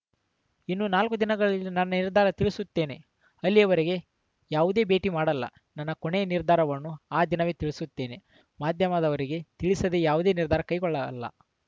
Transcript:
ಇನ್ನು ನಾಲ್ಕು ದಿನಗಳಲ್ಲಿ ನನ್ನ ನಿರ್ಧಾರ ತಿಳಿಸುತ್ತೇನೆ ಅಲ್ಲಿಯವರೆಗೆ ಯಾವುದೇ ಭೇಟಿ ಮಾಡಲ್ಲ ನನ್ನ ಕೊನೆಯ ನಿರ್ಧಾರವನ್ನು ಆ ದಿನವೇ ತಿಳಿಸುತ್ತೇನೆ ಮಾಧ್ಯಮದವರಿಗೆ ತಿಳಿಸದೆ ಯಾವುದೇ ನಿರ್ಧಾರ ಕೈಗೊಳ್ಳಲ್ಲ